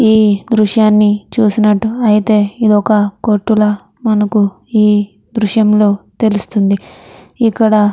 ఈ దృశ్యాని చూసినట్టయితే ఇది ఒక కొట్టు లా మనకి ఈ దృశ్యం లో తెలుస్తుంది ఇక్కడ --